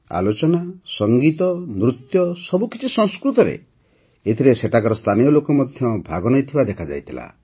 ଆଲୋଚନା ସଂଗୀତ ନୃତ୍ୟ ସବୁକିଛି ସଂସ୍କୃତରେ ଏଥିରେ ସେଠାକାର ସ୍ଥାନୀୟ ଲୋକ ମଧ୍ୟ ଭାଗ ନେଇଥିବା ଦେଖାଯାଇଥିଲା